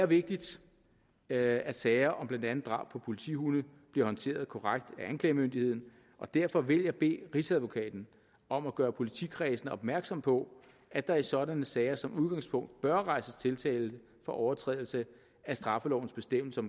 vigtigt at at sager om blandt andet drab på politihunde bliver håndteret korrekt af anklagemyndigheden og derfor vil jeg bede rigsadvokaten om at gøre politikredsene opmærksom på at der i sådanne sager som udgangspunkt bør rejses tiltale for overtrædelse af straffelovens bestemmelser